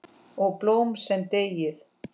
Ó, blóm sem deyið!